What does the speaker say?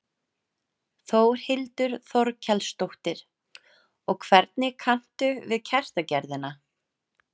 Þórhildur Þorkelsdóttir: Og hvernig kanntu við kertagerðina?